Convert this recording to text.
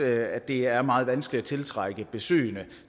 at det er meget vanskeligt at tiltrække besøgende